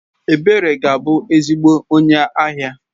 Ebere ga-abu ezigbo onye ahia.